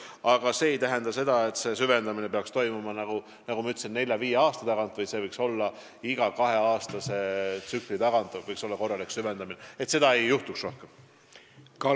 See aga ei tähenda seda, et see süvendamine peaks toimuma iga nelja-viie aasta tagant, nagu ma ütlesin, vaid korralik süvendamine võiks olla kaheaastase tsükli järel, et samasuguseid probleeme rohkem ette ei tuleks.